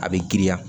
A bɛ giriya